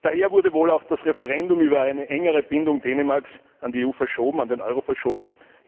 Daher wurde wohl auch das Referendum über eine engere Bindung Dänemarks an die EU und an den Euro verschoben.